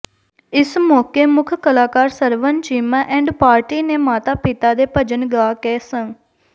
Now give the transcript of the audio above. ਇਸ ਮੌਕੇ ਮੁੱਖ ਕਲਾਕਾਰ ਸਰਵਨ ਚੀਮਾ ਐਂਡ ਪਾਰਟੀ ਨੇ ਮਾਤਾ ਦੇ ਭਜਨ ਗਾ ਕੇ ਸੰ